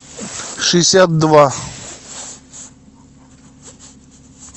шестьдесят два